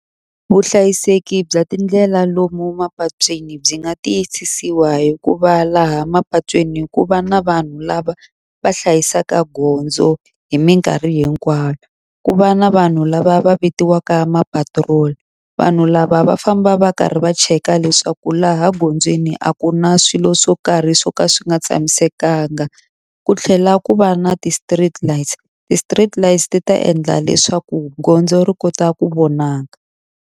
Vuhlayiseki bya tindlela lomu mapatwini byi nga tiyisisiwa hi kuvva laha mapatwini ku va na vanhu lava va hlayisaka gondzo hi minkarhi hinkwayo. Ku va na vanhu lava va vitiwaka mapatirola. Vanhu lava va famba va karhi va cheka leswaku laha gondzweni a ku na swilo swo karhi swo ka swi nga tshamisekanga. Ku tlhela ku va na ti-street lights, ti-street lights ti ta endla leswaku gondzo ri kota ku vona nga.